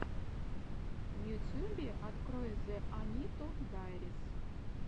в ютюбе открой зэ аниту дайрис